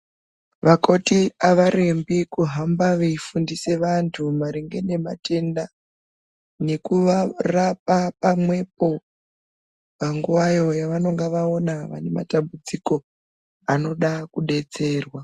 Vakoti avarembi kuhamba veifundisa vanthu maringe nematenda nekuvarapa pamwepo panguvayo yavanenge vaona vane matambudziko anoda kudetserwa.